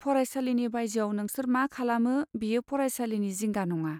फरायसालिनि बायजोआव नोंसोर मा खालामो, बेयो फरायसालिनि जिंगा नङा।